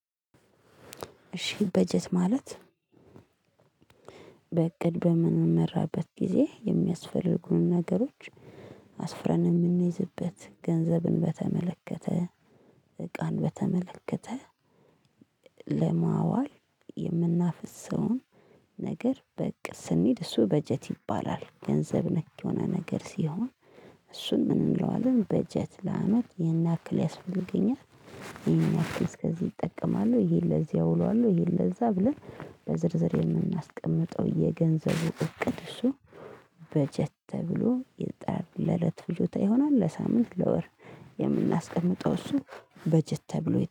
እሺ በጀት ማለት በእቅድ በምንመራበት ጊዜ የሚያስፈልጉንን ነገሮች አስፍረን የምንይዝበት፤ ገንዘብን በተመለከተ፤ እቃን በተመለከተ ለማዋል የምናፍሰውን ነገር በእቅድ ስንሄድ እሱ በጀት ይባላል። ገንዘብ ነክ የሆነ ነገር ሲሆን እሱን ምን እንለዋለን በጀት ለአመት ይሄን ያክል ያስፈገኛል። ይሄን ያክል እስከዚህ እጠቀማለሁ። ይሄን ለዚህ አውለዋለሁ ይሄን ለዛ ብለን በዝርዝር የምናስቀምጠው የገንዘቡ እቅድ እሱ በጀት ተብሎ ለእለት ፍጆታ ይሆናል ለሳምንት ለወር ብለን የምናስቀምጠው እሱ በጀት ተብሎ